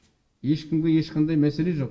ешкімге ешқандай мәселе жоқ